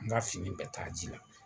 N ka fini bɛ taa ji la.